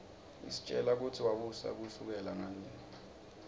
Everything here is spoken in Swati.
isitjela kutsi wabusa kusukela nga